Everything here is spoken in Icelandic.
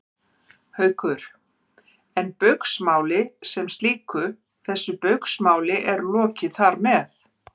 Haukur: En Baugsmáli sem slíku, þessu Baugsmáli er lokið þar með?